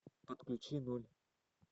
подключи ноль